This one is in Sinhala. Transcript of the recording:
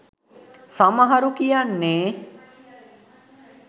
සමහරු කියන්නේ.